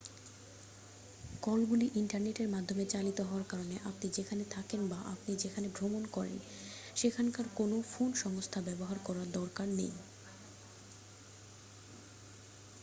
কলগুলি ইন্টারনেটের মাধ্যমে চালিত হওয়ার কারণে আপনি যেখানে থাকেন বা আপনি যেখানে ভ্রমণ করেন সেখানকার কোনও ফোন সংস্থা ব্যবহার করার দরকার নেই